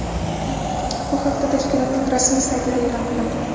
Bu haqda tashkilotning rasmiy saytida e’lon qilindi .